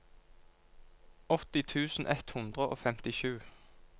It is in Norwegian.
åtti tusen ett hundre og femtisju